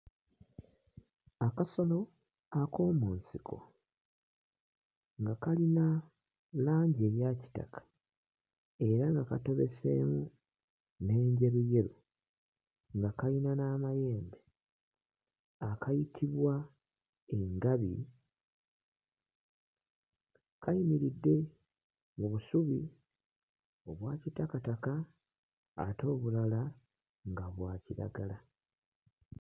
Akasolo ak'omu nsiko nga kalina langi eya kitaka era nga katobeseemu n'enjeruyeru nga kayina n'amayembe akayitibwa engabi. Kayimiridde mu busubi obwa kitakataka ate obulala nga bwa kiragala.